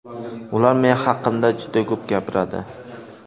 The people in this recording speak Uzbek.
Ular men haqimda juda ko‘p gapiradi.